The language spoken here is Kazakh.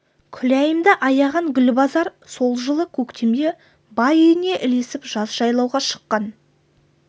күләйімді аяған гүлбазар сол жылы көктемде бай үйіне ілесіп жаз жайлауға шыққан